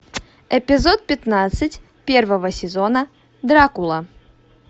эпизод пятнадцать первого сезона дракула